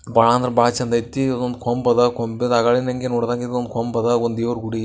ಬಾಳ ಅಂದ್ರೆ ಬಾಳ ಚಂದ್ ಆಯ್ತಿ ಒಂದ್ ಕೊಂಬ್ ಅದ ಕೊಂಬ ದಾಗಳಿಂದ ನೋಡ್ದ ಗಿಂದ ಒಂದ್ ಕಂಬ್ ಅದ ಒಂದ್ ದೇವ್ರು ಗುಡಿ --